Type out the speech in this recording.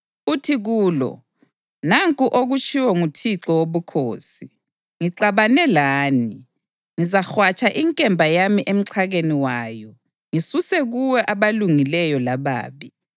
uthi kulo: ‘Nanku okutshiwo nguThixo Wobukhosi: Ngixabane lani. Ngizahwatsha inkemba yami emxhakeni wayo ngisuse kuwe abalungileyo lababi.